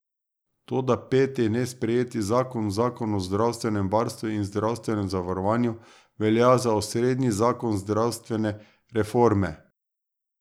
Toda peti nesprejeti zakon, zakon o zdravstvenem varstvu in zdravstvenem zavarovanju, velja za osrednji zakon zdravstvene reforme.